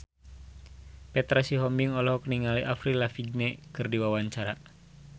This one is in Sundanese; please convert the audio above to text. Petra Sihombing olohok ningali Avril Lavigne keur diwawancara